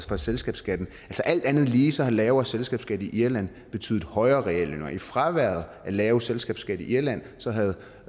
for selskabsskatten alt andet lige har lavere selskabsskat i irland betydet højere reallønninger i fraværet af lav selskabsskat i irland